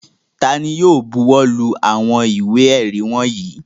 Ta ni yóò bọwọ́lù àwọn ìwé-ẹ̀rí wọ̀nyí?